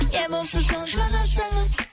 не болса соны жаза салып